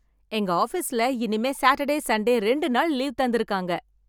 எங்க ஆபீஸ்ல இனிமே சாட்டர்டே சண்டே ரெண்டு நாள் லீவ் தந்து இருக்காங்க.